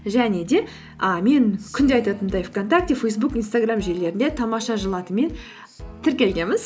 және де і мен күнде айтатынымдай вконтакте фейсбук инстаграм желілерінде тамаша жыл атымен тіркелгенміз